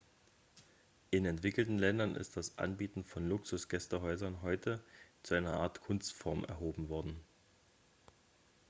in entwickelten ländern ist das anbieten von luxus-gästehäusern heute zu einer art kunstform erhoben worden